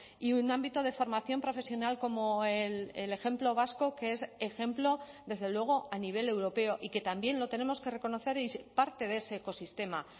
y un ámbito de formación profesional como el ejemplo vasco que es ejemplo desde luego a nivel europeo y que también lo tenemos que reconocer parte de ese ecosistema